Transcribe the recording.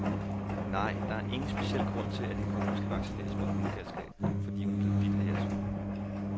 Nej, der er ingen speciel grund til, at din kone skal vaccineres mod hundegalskab, fordi hun er blevet bidt af jeres hund.